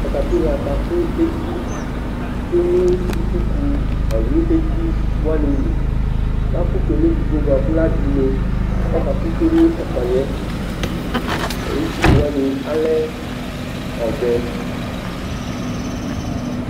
katapila ka kò eti tsue no itsuku ɔlò eti wani li lakò tsue n'edigbo boa kò la vi une k'ɔka kò tsue n'ɛfuaniɛ itsuku wani alɛ ɔvɛ